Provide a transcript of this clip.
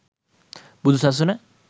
බුදු සසුන